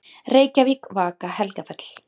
Reykjavík, Vaka-Helgafell.